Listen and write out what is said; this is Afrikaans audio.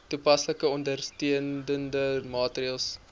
toepaslike ondersteunende maatreëls